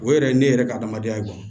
O yɛrɛ ye ne yɛrɛ ka adamadenya ye